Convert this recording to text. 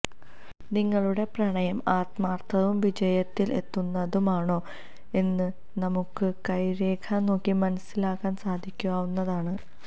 നിങ്ങളുടെ പ്രണയം ആത്മാര്ത്ഥവും വിജയത്തില് എത്തുന്നതും ആണോ എന്ന് നമുക്ക് കൈരേഖ നോക്കി മനസ്സിലാക്കാന് സാധിക്കാവുന്നതാണ്